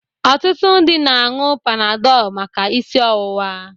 Ọtụtụ ndị mmadụ na-añụ Panadol maka isi ọwụwa.